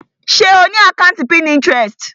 Ṣe o ni àkàntí Pinterest?